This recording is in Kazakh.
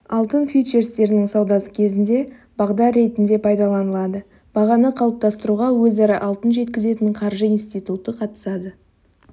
алтын фьючерстерінің саудасы кезінде бағдар ретінде пайдаланылады бағаны қалыптастыруға өзара алтын жеткізетін қаржы институты қатысады